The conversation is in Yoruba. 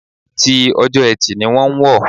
Ti Ọjọ́ Ẹtì ni wọ́n wọ̀.